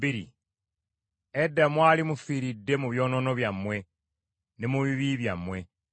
Edda mwali mufiiridde mu byonoono byammwe ne mu bibi byammwe.